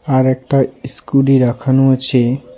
আর একটা ইসকুডি রাখানো আছে.